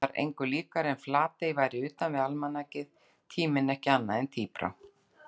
Var engu líkara en Flatey væri utanvið almanakið, tíminn ekki annað en tíbrá.